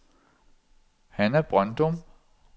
Hanna Brøndum